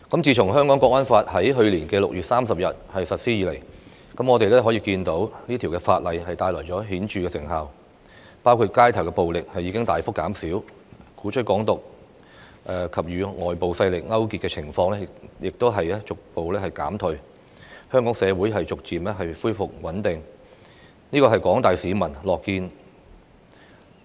自從《香港國安法》在去年6月30日實施以來，我們可以看到這條法例帶來顯著的成效，包括街頭暴力事件大幅減少，鼓吹"港獨"和勾結外國勢力的情況逐步減退，香港社會逐漸回復穩定，這是廣大市民所樂見的。